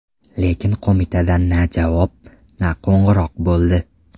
Lekin qo‘mitadan na javob, na qo‘ng‘iroq bo‘ldi.